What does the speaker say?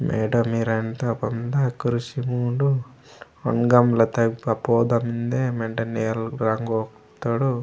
मैडम ईरेमूता बँधा कुर्सी मुंडू ओंड गमला तगा पापा उदा मेन्दे मेंडे नेल रंग उत्तोडु।